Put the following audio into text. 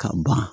Ka ban